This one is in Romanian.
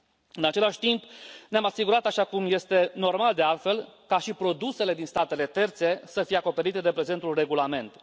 În același timp, ne am asigurat așa cum este normal, de altfel ca și produsele din statele terțe să fie acoperite de prezentul regulament.